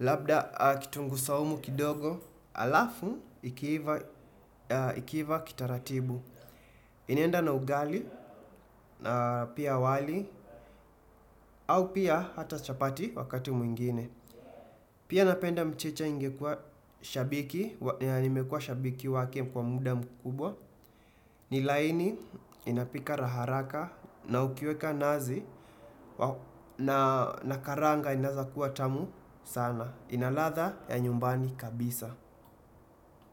labda kitungu saumu kidogo alafu ikiiva kitaratibu. Inienda na ugali na pia wali au pia hata chapati wakati mwingine. Pia napenda mchicha imekuwa shabiki wake kwa muda mkubwa. Ni laini inapika harakaharaka na ukiweka nazi na karanga inaweza kuwa tamu sana. Ina ladha ya nyumbani kabisa.